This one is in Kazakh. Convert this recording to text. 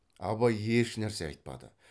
абай ешнәрсе айтпады